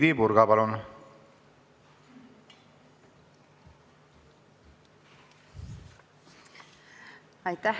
Heidy Purga, palun!